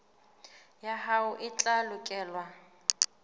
ya hao e tla lekolwa